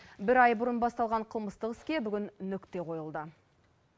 бір ай бұрын басталған қылмыстық іске бүгін нүкте қойылды